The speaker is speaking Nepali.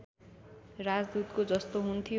राजदूतको जस्तो हुन्थ्यो